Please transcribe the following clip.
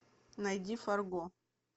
найди фарго